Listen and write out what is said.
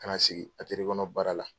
Ka na sigi kɔnɔ baara la.